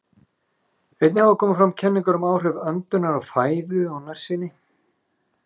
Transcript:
Einnig hafa komið fram kenningar um áhrif öndunar og fæðu á nærsýni.